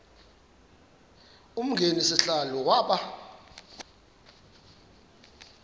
umgcini sihlalo waba